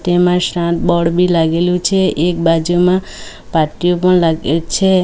એમાં સામ બોર્ડ બી લાગેલું છે એક બાજુમાં પાટિયું પણ લાગેલ છે.